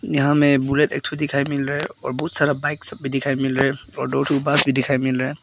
यहां में बुलेट एक ठो दिखाई मिल रहा है और बहुत सारा बाइक सब भी दिखाई मिल रहा है और दो ठो बांस भी दिखाई मिल रहा है।